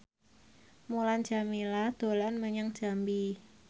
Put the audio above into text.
Mulan Jameela dolan menyang Jambi